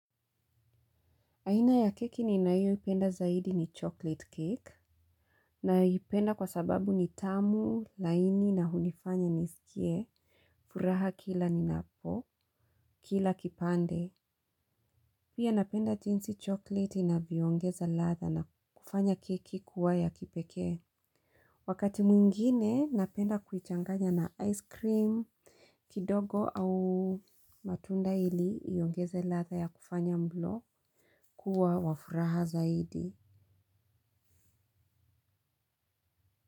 Aina ya keki ninayoipenda zaidi ni chocolate cake. Naipenda kwa sababu ni tamu, laini na hunifanya nisikie, furaha kila ni napokila kipande. Pia napenda jinsi chocolate inavyoongeza ladha na kufanya keki kuwa ya kipekee. Wakati mwingine, napenda kuichanganya na ice cream kidogo au matunda ili iongeze ladha ya kufanya mlo kuwa wa furaha zaidi.